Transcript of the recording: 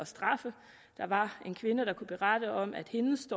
straffe der var en kvinde der kunne berette om at hendes